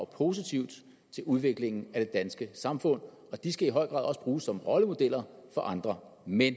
positivt til udviklingen af det danske samfund og de skal i høj grad også bruges som rollemodeller for andre men